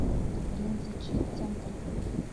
рензачи центр